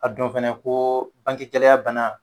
A dɔn fɛnɛ koo bankɛ gɛlaya banna